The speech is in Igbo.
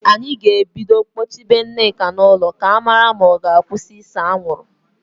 Anyị ga-ebido kpọchibe Nneka n'ụlọ ka a mara ma ọ ga-akwụsị ise anwụrụ